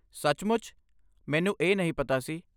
ਸੱਚਮੁੱਚ? ਮੈਨੂੰ ਇਹ ਨਹੀਂ ਪਤਾ ਸੀ।